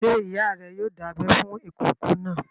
Ṣé ìyá rẹ yoo dábẹ fún ìkókó náà?